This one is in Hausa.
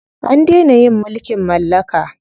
An dena yin mulkin mallaka.